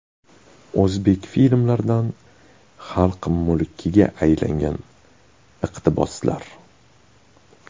O‘zbek filmlaridan xalq mulkiga aylangan iqtiboslar.